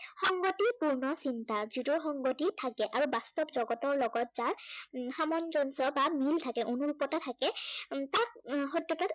সংগতিপূৰ্ণ চিন্তা। যিটোৰ সংগতি থাকে আৰু বাস্তৱ জগতৰ লগত যাৰ উম সামঞ্জস্য় বা মিল থাকে, অনুৰূপতা থাকে উম তাক সত্য়তাত